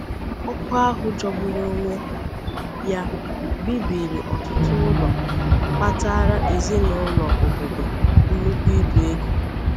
Ọkụ ahụ jọgburu onwe ya bibiri ọtụtụ ụlọ, kpataara ezinaụlọ obodo nnukwu ibu ego.